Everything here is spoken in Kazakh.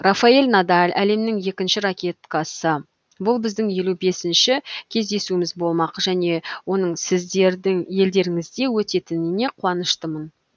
рафаэль надаль әлемнің екінші ракеткасы бұл біздің елу бесінші кездесуіміз болмақ және оның сіздердің елдеріңізде өтетіне қуаныштымын